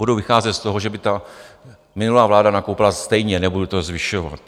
Budu vycházet z toho, že by ta minulá vláda nakoupila stejně, nebudu to zvyšovat.